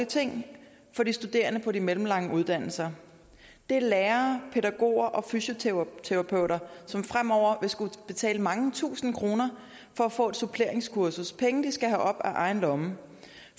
ting for de studerende på de mellemlange uddannelser det er lærere pædagoger og fysioterapeuter som fremover vil skulle betale mange tusinde kroner for at få et suppleringskursus penge de skal af egen lomme